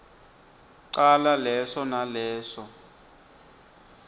cala leso naleso